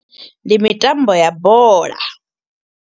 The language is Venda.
Ndi mitambo ya bola.